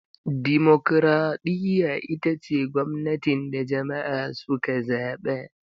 Dimokuraɗiyya ita ce gwamnatin da jama'a suka zaba.